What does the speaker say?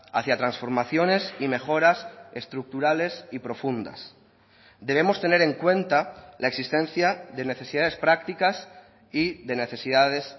hacia transformaciones y mejoras estructurales y profundas debemos tener en cuenta la existencia de necesidades prácticas y de necesidades